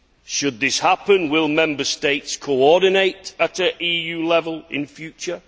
Should this happen, will Member States coordinate at EU level in future?